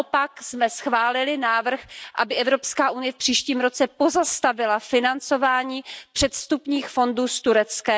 Naopak jsme schválili návrh, aby Evropská unie v příštím roce pozastavila financování předvstupních fondů s Tureckem.